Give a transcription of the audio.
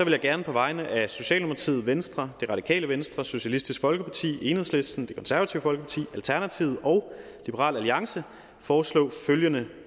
jeg gerne på vegne af socialdemokratiet venstre det radikale venstre socialistisk folkeparti enhedslisten det konservative folkeparti alternativet og liberal alliance foreslå følgende